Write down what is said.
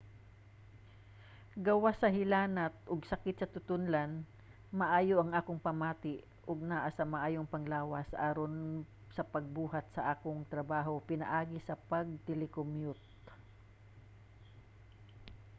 gawas sa hilanat ug sakit sa tutonlan maayo ang akong pamati ug naa sa maayong panglawas aron sa pagbuhat sa akong trabaho pinaagi sa pag-telecommute